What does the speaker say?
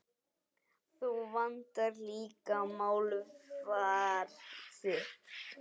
Þú vandar líka málfar þitt.